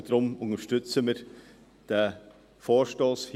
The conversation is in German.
Deshalb unterstützen wir diesen Vorstoss.